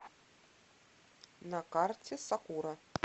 на карте сакура